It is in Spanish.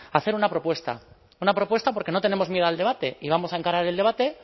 hacer una propuesta una propuesta porque no tenemos miedo al debate y vamos a encarar el debate